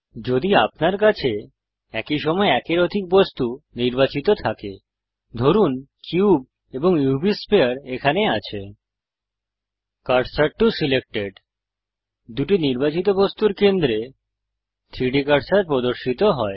যদি আপনার কাছে একই সময়ে একের অধিক বস্তু নির্বাচিত থাকে ধরুন কিউব এবং উভ স্ফিয়ার এখানে আছে কার্সর টো সিলেক্টেড দুটি নির্বাচিত বস্তুর কেন্দ্রে 3ডি কার্সার প্রদর্শিত হয়